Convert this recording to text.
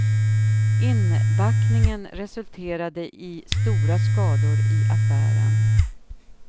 Inbackningen resulterade i stora skador i affären.